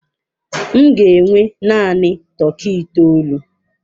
M ga enwe naanị tọkị itoolu.